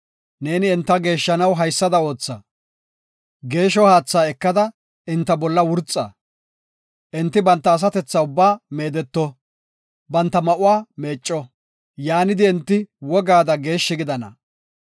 Neeni enta geeshshanaw haysada ootha; geeshshiya haatha ekada enta bolla wurxa; enti banta asatethaa ubbaa meedeto; banta ma7uwa meecco; yaanidi enti wogaada geeshshi gidana.